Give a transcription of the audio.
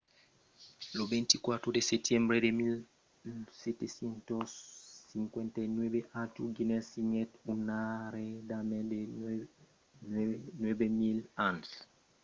lo 24 de setembre de 1759 arthur guinness signèt un arrendament de 9 000 ans per la braçariá de st james' gate a dublin en irlanda